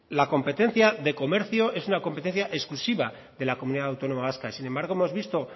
la competencia de comercio es una competencia exclusiva de la comunidad autónoma vasca y sin embargo hemos visto